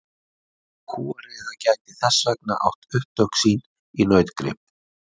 Kúariða gæti þess vegna átt upptök sín í nautgrip.